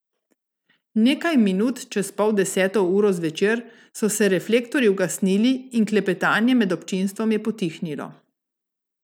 Nekaj minut čez pol deseto uro zvečer so se reflektorji ugasnili in klepetanje med občinstvom je potihnilo.